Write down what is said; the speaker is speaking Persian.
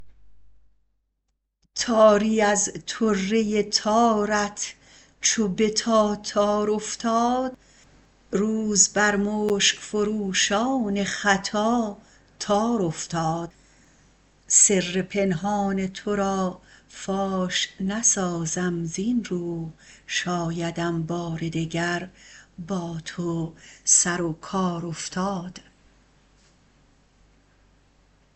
تاری از طره تارت چو به تاتار افتاد روز بر مشک فروشان خطا تار افتاد سر پنهان ترا فاش نسازم زین رو شایدم بار دگر با تو سر و کار افتاد